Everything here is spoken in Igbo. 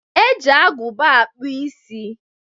E ji agụba akpụ isi.